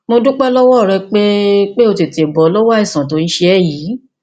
mo dúpẹ lọwọ rẹ pé pé o tètè bọ lọwọ àìsàn tó ń ṣe ẹ yìí